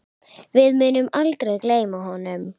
Við munum aldrei gleyma honum.